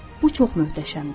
Bu çox möhtəşəmdir.